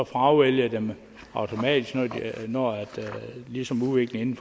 fravælger dem automatisk når udviklingen